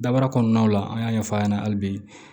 Dabara kɔnɔnaw la an y'a ɲɛfɔ a ɲɛna hali bi